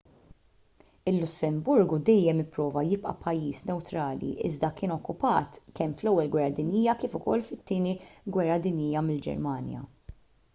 il-lussemburgu dejjem ipprova jibqa' pajjiż newtrali iżda kien okkupat kemm fl-ewwel gwerra dinjija kif ukoll fit-tieni gwerra dinjija mill-ġermanja